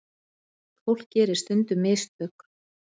Fólk gerir stundum mistök.